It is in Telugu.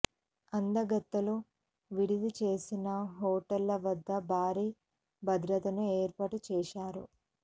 అందగత్తెలు విడిది చేసిన హోటళ్ల వద్ద భారీ భద్రతను ఏర్పాటు చేశారు